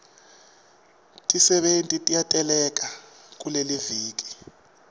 tisebenti tiyateleka kuleliviki